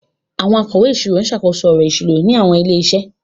Àwọn akọ̀wé ìṣirò ń ṣàkóso ọ̀rọ̀ ìṣúná ní àwọn ilé-iṣẹ́.